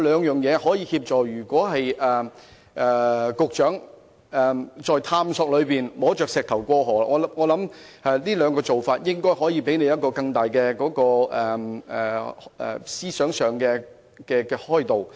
如果局長在探索中"摸着石頭過河"，我想這兩種做法應該可以讓局長在思想上獲得更大的開導。